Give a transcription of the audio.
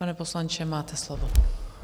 Pane poslanče, máte slovo.